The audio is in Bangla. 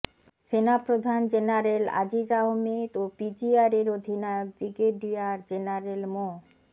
সেনাপ্রধান জেনারেল আজিজ আহমেদ ও পিজিআরের অধিনায়ক ব্রিগেডিয়ার জেনারেল মো